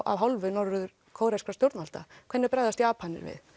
að hálfu norður kóreskra stjórnvalda hvernig bregðast Japanir við